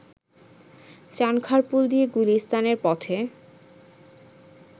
চাঁনখারপুল দিয়ে গুলিস্তানের পথে